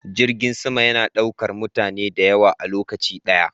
Jirgin sama yana daukar mutane da yawa a lokaci daya.